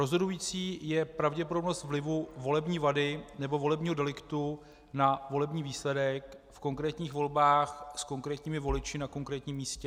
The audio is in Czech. Rozhodující je pravděpodobnost vlivu volební vady nebo volebního deliktu na volební výsledek v konkrétních volbách s konkrétními voliči na konkrétním místě.